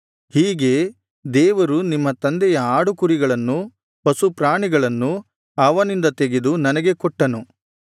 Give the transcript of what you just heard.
ಹೀಗೆ ದೇವರು ನಿಮ್ಮ ತಂದೆಯ ಆಡುಕುರಿಗಳನ್ನು ಪಶುಪ್ರಾಣಿಗಳನ್ನು ಅವನಿಂದ ತೆಗೆದು ನನಗೆ ಕೊಟ್ಟನು